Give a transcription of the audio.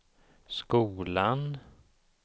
skolan